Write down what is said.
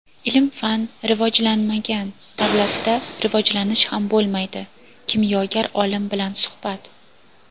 "Ilm-fan rivojlanmagan davlatda rivojlanish ham bo‘lmaydi" — kimyogar olim bilan suhbat.